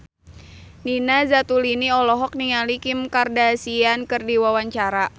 Nina Zatulini olohok ningali Kim Kardashian keur diwawancara